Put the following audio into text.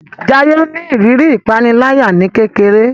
Jaiye ní ìrírí ìpaniláyà ní kékeré